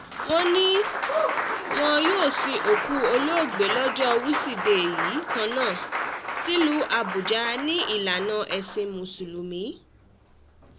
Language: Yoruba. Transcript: um wọ́n ní wọn yóò sin òkú olóògbé lọ́jọ́ wíṣídẹ̀ẹ́ yìí kan náà um sílùú àbújá ní ìlànà ẹ̀sìn mùsùlùmí